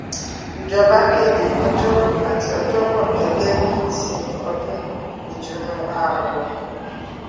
ìjọba kéde ọjọrùú àti ọjọbọ gẹgẹ bíi ìsinmi ọdún ìtùnú ààwẹ